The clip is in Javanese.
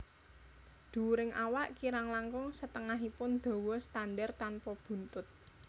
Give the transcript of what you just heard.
Dhuwuring awak kirang langkung setengahipun dawa standar tanpa buntut